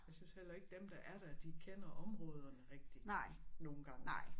Jeg synes heller ikke dem der er der de kender områderne rigtigt nogen gange